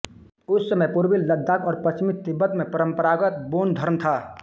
उस समय पूर्वी लद्दाख और पश्चिमी तिब्बत में परम्परागत बोन धर्म था